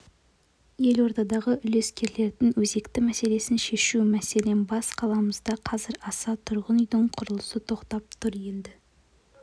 елордадағы үлескерлердің өзекті мәселесін шешу мәселен бас қаламызда қазыр аса тұрғын үйдің құрылысы тоқтап тұр енді